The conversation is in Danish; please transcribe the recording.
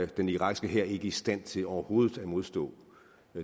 den irakiske hær ikke i stand til overhovedet at modstå